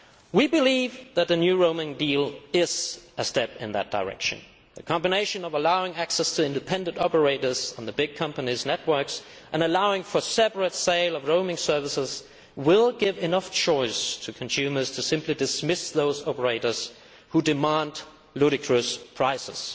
We believe that the new roaming deal is a step in that direction the combination of allowing access to independent operators on the big companies' networks and allowing for the separate sale of roaming services will give enough choice to consumers to simply dismiss those operators who demand ludicrous prices.